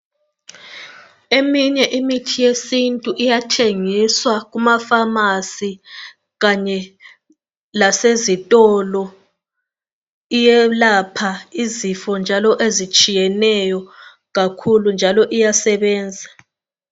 Eminye imithi yesintu iyathengiswa kumapharmacy kanye lasezitolo. Iyelapha izifo njalo ezitshiyeneyo kakhulu njalo iyasebenza.